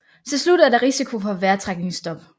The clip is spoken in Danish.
Til slut er der risiko for vejrtrækningsstop